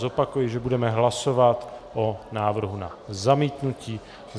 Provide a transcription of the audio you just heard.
Zopakuji, že budeme hlasovat o návrhu na zamítnutí.